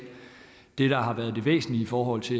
det der har været det væsentlige i forhold til